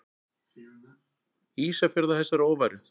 Ísafjörð af þessari óværu!